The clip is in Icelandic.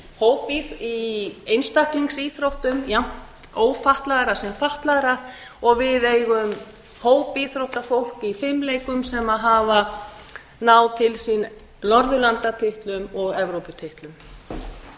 norðurlandameistara í einstaklingsíþróttum jafnt ófatlaðra sem fatlaðra og við eigum hópíþróttafólk í fimleikum sem hafa náð til sín norðurlandatitlum